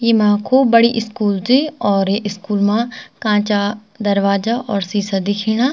ईमा खूब बड़ी इस्कूल च और ये इस्कूल मा कांचा दरवाजा और सीशा दिखेणा।